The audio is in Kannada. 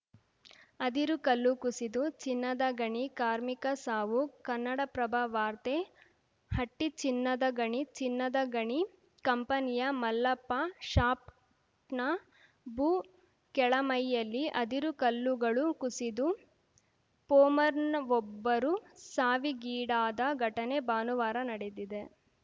ಅದಿರು ಕಲ್ಲು ಕುಸಿದು ಚಿನ್ನದ ಗಣಿ ಕಾರ್ಮಿಕ ಸಾವು ಕನ್ನಡಪ್ರಭ ವಾರ್ತೆ ಹಟ್ಟಿಚಿನ್ನದಗಣಿ ಚಿನ್ನದ ಗಣಿ ಕಂಪನಿಯ ಮಲ್ಲಪ್ಪ ಶಾಪ್ ನ ಭೂ ಕೆಳಮೈಯಲ್ಲಿ ಅದಿರು ಕಲ್ಲುಗಳು ಕುಸಿದು ಫೋಮರ್‌ನ್ ವೊಬ್ಬರು ಸಾವಿಗೀಡಾದ ಘಟನೆ ಭಾನುವಾರ ನಡೆದಿದೆ